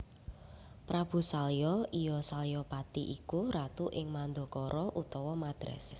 Prabu Salya iya Salyapati iku ratu ing Mandaraka utawa Madras